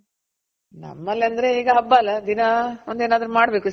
ನಮ್ಮಲ್ಲಿ ಅಂದ್ರೆ ಈಗ ಹಬ್ಬ ಅಲ ದಿನ ಒಂದ್ ಏನಾದ್ರು ಮಾಡ್ಬೇಕು